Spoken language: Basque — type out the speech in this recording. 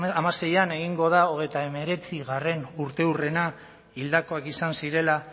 hamaseian egingo da hogeita hemeretzi urteurrena hildakoak izan zirela